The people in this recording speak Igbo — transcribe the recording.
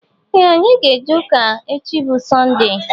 Ee anyị ga -eje ụka echi bụ sonde.